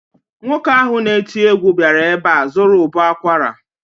Nwoke ahụ na-eti egwu bịara ebe a zụrụ ụbọ akwara